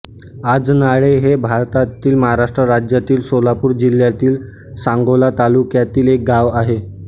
आजनाळे हे भारतातील महाराष्ट्र राज्यातील सोलापूर जिल्ह्यातील सांगोला तालुक्यातील एक गाव आहे